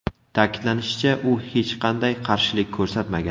Ta’kidlanishicha, u hech qanday qarshilik ko‘rsatmagan.